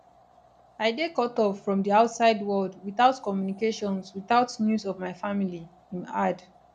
i dey cutoff from di outside world witout communications witout news of my family im add